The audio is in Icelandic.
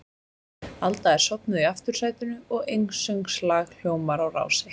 Alda er sofnuð í aftursætinu og einsöngslag hljómar á Rás eitt.